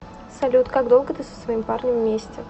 салют как долго ты со своим парнем вместе